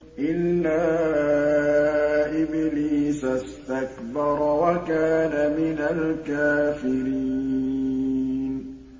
إِلَّا إِبْلِيسَ اسْتَكْبَرَ وَكَانَ مِنَ الْكَافِرِينَ